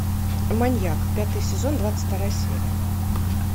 маньяк пятый сезон двадцать вторая серия